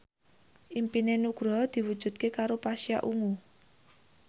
impine Nugroho diwujudke karo Pasha Ungu